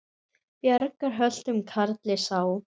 Bjargar höltum karli sá.